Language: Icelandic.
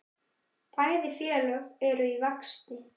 Bæði félög eru í vexti.